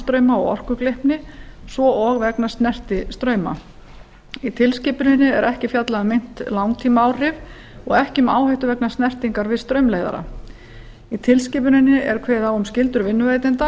hringstreymis spanstrauma og orkugleypni svo og vegna snertistrauma í tilskipuninni er ekki fjallað um meint langtímaáhrif og ekki um áhættu vegna snertingar við straumleiðara í tilskipuninni er kveðið á um skyldur vinnuveitenda